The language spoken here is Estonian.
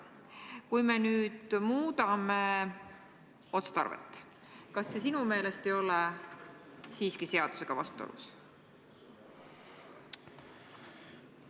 Kui me nüüd muudame otstarvet, siis kas see sinu meelest ei ole seadusega vastuolus?